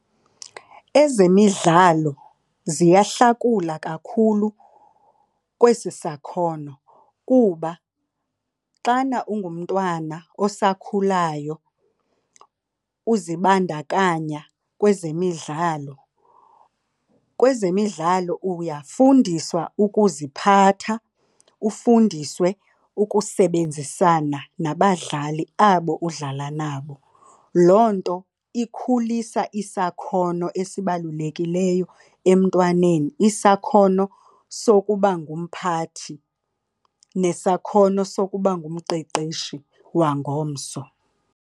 Ezemidlalo ziyahlakula kakhulu kwesi sakhono kuba xana ungumntwana olusakhulayo uzibandakanya kwezemidlalo, kwezemidlalo uyafundiswa ukuziphatha, ufundiswe ukusebenzisana nabadlali abo udlala nabo. Loo nto ikhulisa isakhono esibalulekileyo emntwaneni, isakhono sokuba ngumphathi nesakhono sokuba ngumqeqeshi wangomso.